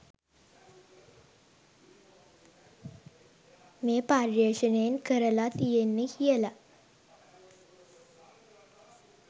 මේ පර්යේෂනයෙන් කරල තියෙන්නේ කියල.